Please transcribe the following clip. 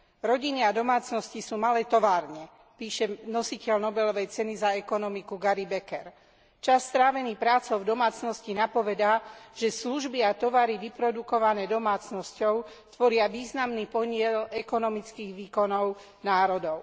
Rodiny a domácnosti sú malé továrne, píše nositeľ Nobelovej ceny za ekonómiu Gary Becker. Čas strávený prácou v domácnosti napovedá, že služby a tovary vyprodukované domácnosťou tvoria významný podiel ekonomických výkonov národov.